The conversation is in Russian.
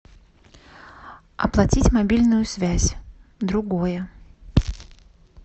оплатить мобильную связь другое